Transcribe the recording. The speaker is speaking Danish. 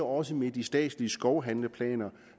også med de statslige skovhandleplaner